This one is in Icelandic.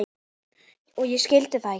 Og ég skildi það ekki.